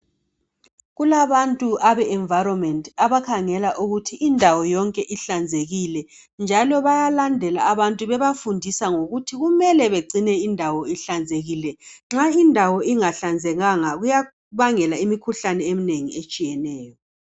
Kulabantu Abe environment abakhangela ukuthi indawo yonke ihlanzekile njalo bayalandela abantu bebafundisa ngokuthi kumele indawo ihlanzekile nxa indawo ingahlanzekanga kuyabangela imikhuhlane eminengi etshiyeneyo